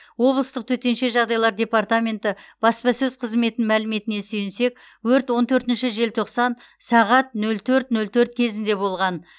облыстық төтенше жағдайлар департаменті баспасөз қызметінің мәліметіне сүйенсек өрт он төртінші желтоқсан сағат нөл төрт нөл төрт кезінде болған